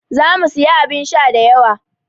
Za mu sayi abin sha da yawa.